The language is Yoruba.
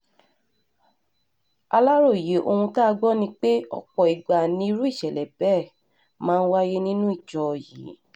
aláròye ohun tá a gbọ́ ni pé ọ̀pọ̀ ìgbà nirú ìṣẹ̀lẹ̀ bẹ́ẹ̀ máa ń wáyé nínú ìjọ yín